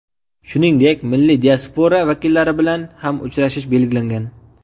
Shuningdek, milliy diaspora vakillari bilan ham uchrashish belgilangan.